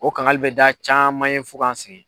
O kangali be da caman ye fo g'an se